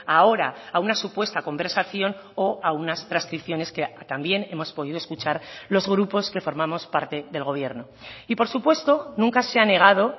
ahora a una supuesta conversación o a unas transcripciones que también hemos podido escuchar los grupos que formamos parte del gobierno y por supuesto nunca se ha negado